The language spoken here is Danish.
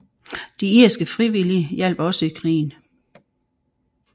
De Irske Frivillige hjalp også i krigen